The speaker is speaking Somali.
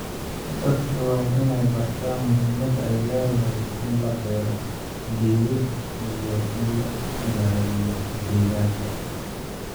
Dadka waa in ay bartaan muhiimada ay leedahay in la beero geedo iyo in la ilaaliyo deegaanka.